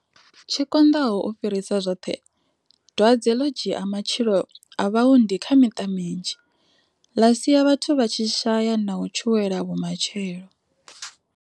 Tshi konḓaho u fhirisa zwoṱhe, dwadze ḽo dzhia matshilo a vhaundi kha miṱa minzhi, ḽa sia vhathu vha tshi shaya na u tshuwela vhumatshelo.